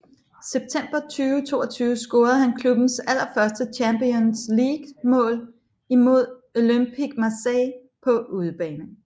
September 2022 scorede han klubbens allerførste Champions League mål imod Olympique Marseille på udebane